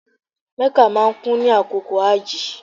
Mecca máa kún ni àkókò hajji